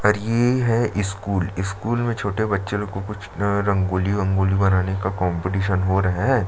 और ये है स्कूल स्कूल में छोटे बच्चो का कुछ रंगोली ओंगोली बनाने का कॉम्पिटिशन हो रहा है।